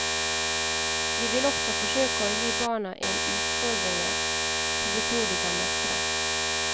Vi vil også forsøke å gi barna en utfordringer som vi tror de kan mestre.